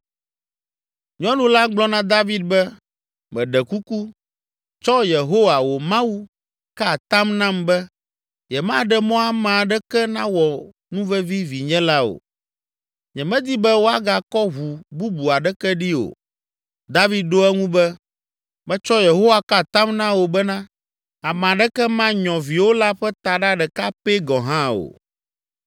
Nyɔnu la gblɔ na David be, “Meɖe kuku, tsɔ Yehowa, wò Mawu, ka atam nam be, yemaɖe mɔ ame aɖeke nawɔ nuvevi vinye la o. Nyemedi be woagakɔ ʋu bubu aɖeke ɖi o.” David ɖo eŋu be, “Metsɔ Yehowa ka atam na wò bena ame aɖeke manyɔ viwò la ƒe taɖa ɖeka pɛ gɔ̃ hã o!”